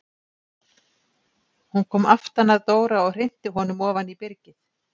Hún kom aftan að Dóra og hrinti honum ofan í byrgið!